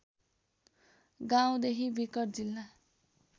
गाउँदेखि विकट जिल्ला